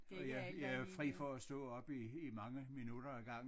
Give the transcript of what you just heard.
Og jeg jeg er fri for at stå op i i mange minutter ad gangen